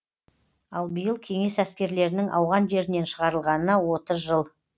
ал биыл кеңес әскерлерінің ауған жерінен шығарылғанына отыз жыл